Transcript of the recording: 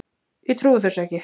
Ég trúi þessu ekki!